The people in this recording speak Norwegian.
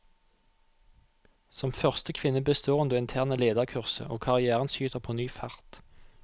Som første kvinne består hun det interne lederkurset, og karrièren skyter på ny fart.